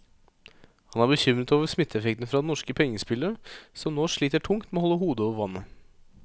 Han er bekymret over smitteeffekten fra det norske pengespillet, som nå sliter tungt med å holde hodet over vannet.